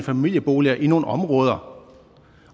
familieboliger i nogle områder